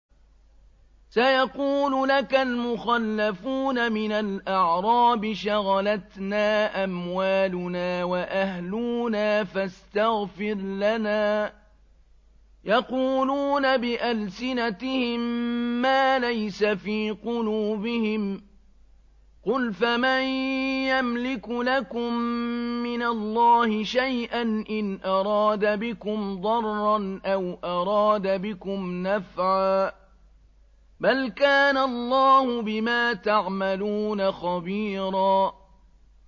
سَيَقُولُ لَكَ الْمُخَلَّفُونَ مِنَ الْأَعْرَابِ شَغَلَتْنَا أَمْوَالُنَا وَأَهْلُونَا فَاسْتَغْفِرْ لَنَا ۚ يَقُولُونَ بِأَلْسِنَتِهِم مَّا لَيْسَ فِي قُلُوبِهِمْ ۚ قُلْ فَمَن يَمْلِكُ لَكُم مِّنَ اللَّهِ شَيْئًا إِنْ أَرَادَ بِكُمْ ضَرًّا أَوْ أَرَادَ بِكُمْ نَفْعًا ۚ بَلْ كَانَ اللَّهُ بِمَا تَعْمَلُونَ خَبِيرًا